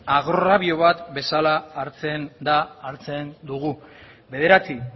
agrabio bat bezala hartzen da hartzen dugu bederatzi